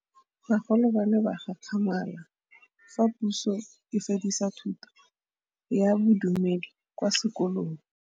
Bagolo ba ne ba gakgamala fa Pusô e fedisa thutô ya Bodumedi kwa dikolong.